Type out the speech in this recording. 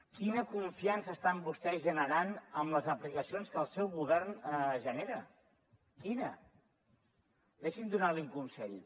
quina confiança estan vostès generant amb les aplicacions que el seu govern genera quina deixi’m donar li un consell